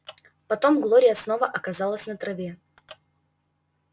потом глория снова оказалась на траве